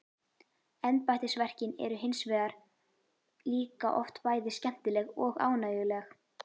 Embættisverkin eru hins vegar líka oft bæði skemmtileg og ánægjuleg.